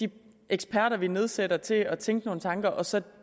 de eksperter vi nedsætter i til at tænke nogle tanker og så